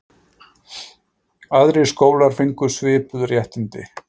Aðrir skólar fengu svipuð réttindi.